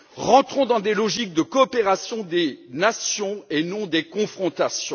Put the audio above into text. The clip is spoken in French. Rentrons dans une logique de coopération entre les nations et non de confrontation.